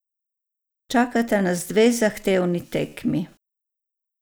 Čakata nas dve zahtevni tekmi.